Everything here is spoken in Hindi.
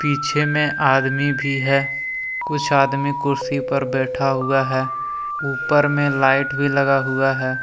पीछे मे आदमी भी है। कुछ आदमी कुर्सी पर बैठा हुआ है। ऊपर मे लाइट भी लगा हुआ है।